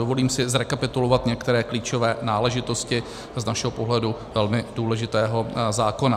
Dovolím si zrekapitulovat některé klíčové náležitosti z našeho pohledu velmi důležitého zákona.